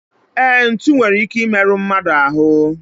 E, ntụ nwere ike I meru mmadụ ahu